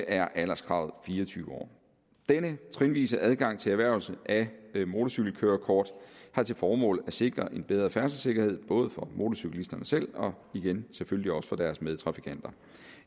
er alderskravet fire og tyve år denne trinvise adgang til erhvervelse af motorcykelkørekort har til formål at sikre en bedre færdselssikkerhed både for motorcyklisterne selv og selvfølgelig også for deres medtrafikanter